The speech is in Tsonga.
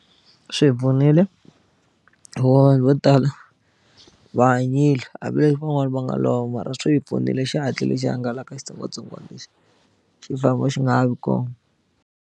Swi hi pfunile hikuva vanhu vo tala va hanyile hambileswi van'wani va nga lova mara swi hi pfunile xi hatlile xi hangalaka xitsongwatsongwana lexi xi famba xi nga ha vi kona.